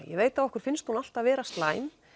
ég veit að okkur finnst hún alltaf vera slæm